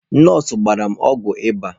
Nọọsụ gbara m ọgwụ ịba.